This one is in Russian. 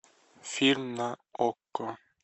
фильм на окко